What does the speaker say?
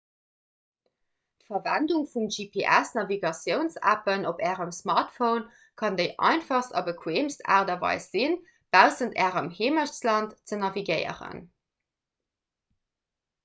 d'verwendung vun gps-navigatiouns-appen op ärem smartphone kann déi einfachst a bequeemst aart a weis sinn baussent ärem heemechtsland ze navigéieren